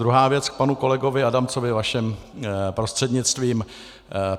Druhá věc k panu kolegovi Adamcovi vaším prostřednictvím.